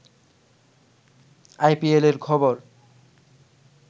আইপিএলের খবর